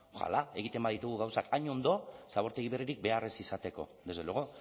oxala egiten baditugu gauzak hain ondo zabortegi berririk behar ez izateko desde luego